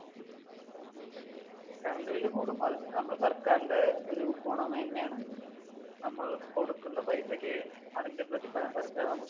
current bill കൂടും, അത് പിന്നെ നമ്മുടെ സർക്കാരിന്‍ടെ ഒരു ഗുണ മേന്മ ആണല്ലോ, നമ്മൾ കൊടുക്കുന്ന പൈസയ്ക്ക് അതിന്‍ടെ പ്രതിഫലം സർക്കാർ നമുക്ക് തരും